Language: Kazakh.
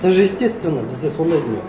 это же естественно бізде сондай дүние